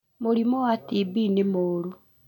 Mũrimũ wa TB nĩ mũũru